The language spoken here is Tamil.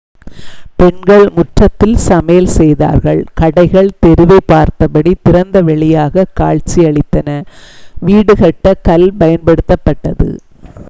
பெண்கள் முற்றத்தில் சமையல் செய்தார்கள் கடைகள் தெருவைப் பார்த்தபடி திறந்தவெளியாக காட்சியளித்தன வீடு கட்ட கல் பயன்படுத்தப்பட்டது